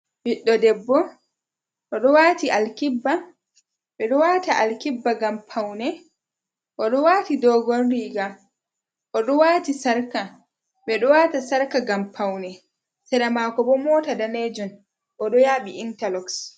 Ɓiɗɗo debbo, o ɗo waati alkibba, ɓe ɗo waata alkibba ngam pawne, o ɗo waati doogon riiga, o ɗo waati sarka, ɓe ɗo waata sarka ngam pawne, sera maako bo moota daneejum, o ɗo yɗaɓi intaloks.